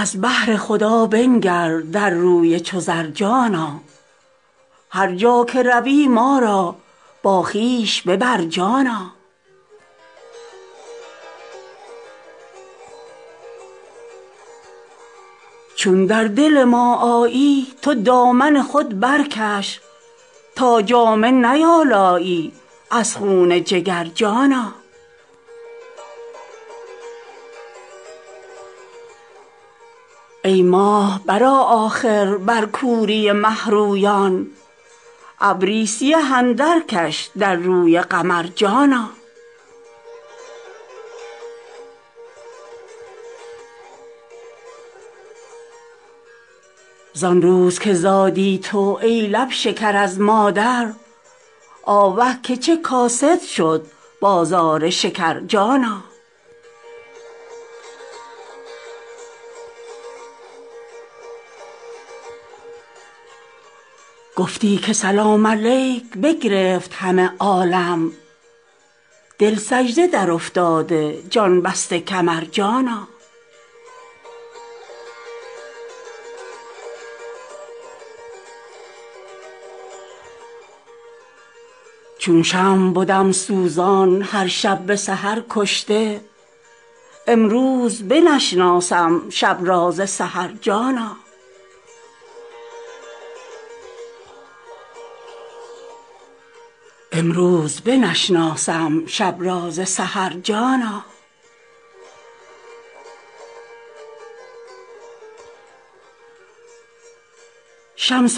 از بهر خدا بنگر در روی چو زر جانا هر جا که روی ما را با خویش ببر جانا چون در دل ما آیی تو دامن خود برکش تا جامه نیالایی از خون جگر جانا ای ماه برآ آخر بر کوری مه رویان ابری سیه اندرکش در روی قمر جانا زان روز که زادی تو ای لب شکر از مادر آوه که چه کاسد شد بازار شکر جانا گفتی که سلام علیک بگرفت همه عالم دل سجده درافتاده جان بسته کمر جانا چون شمع بدم سوزان هر شب به سحر کشته امروز بنشناسم شب را ز سحر جانا شمس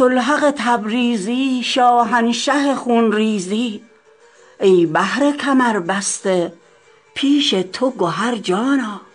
الحق تبریزی شاهنشه خون ریزی ای بحر کمربسته پیش تو گهر جانا